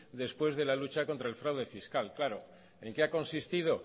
después de la lucha contra el fraude fiscal claro en qué ha consistido